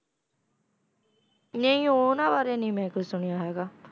ਨਹੀਂ ਉਹਨਾਂ ਬਾਰੇ ਨੀ ਮੈਂ ਕੁਛ ਸੁਣਿਆ ਹੈਗਾ,